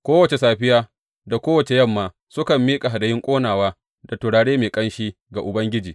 Kowace safiya da kowace yamma sukan miƙa hadayun ƙonawa da turare mai ƙanshi ga Ubangiji.